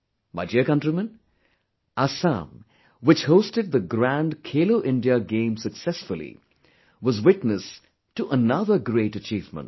My dear countrymen, Assam, which hosted the grand 'Khelo India' games successfully, was witness to another great achievement